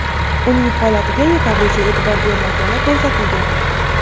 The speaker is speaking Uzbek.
uning holatiga yetarlicha e’tibor bermagani ko‘rsatilgan.